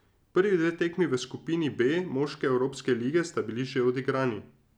Prvi dve tekmi v skupini B moške evropske lige sta bili že odigrani.